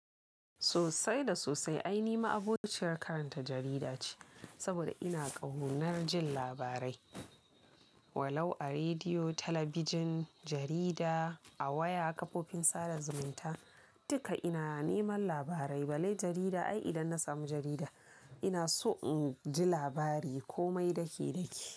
Sosai da sosai ai ni ma abokciyar karanta jarida ce, saboda ina ƙaunar jin labarai. Walau a rediyo, talabijin, jarida, a waya, kafofin sada zumunta, duka ina neman labarai. Balle jarida ai idan na samu jarida ina so in ji labari komai daki-daki.